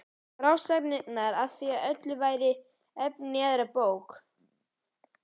Frásagnir af því öllu væru efni í aðra bók.